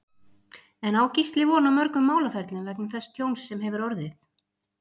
En á Gísli von á mörgum málaferlum vegna þess tjóns sem hefur orðið?